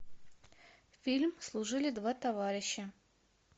фильм служили два товарища